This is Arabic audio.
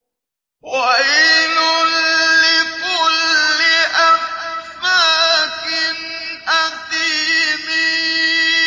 وَيْلٌ لِّكُلِّ أَفَّاكٍ أَثِيمٍ